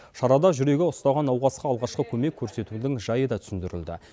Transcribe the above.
шарада жүрегі ұстаған науқасқа алғашқы көмек көрсетудің жайы да түсіндірілді